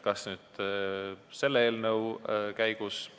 Kas selle eelnõu käigus?